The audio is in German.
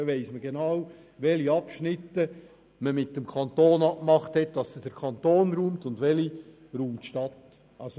Man weiss genau, bei welchen Abschnitten man mit dem Kanton vereinbart hat, dass er sie räumt, und welche die Stadt räumt.